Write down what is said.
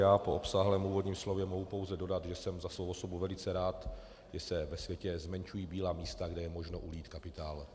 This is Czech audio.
Já po obsáhlém úvodním slově mohu pouze dodat, že jsem za svou osobu velice rád, že se ve světě zmenšují bílá místa, kde je možno ulít kapitál.